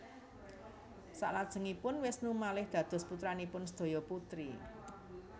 Saklajengipun Wisnu malih dados putranipun sedaya putri